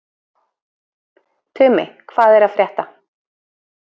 Tumi, hvað er að frétta?